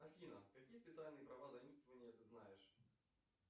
афина какие специальные права заимствования ты знаешь